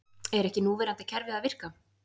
Er ekki núverandi kerfi að virka?